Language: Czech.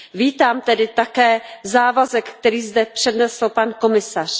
Vítám tedy také závazek, který zde přednesl pan komisař.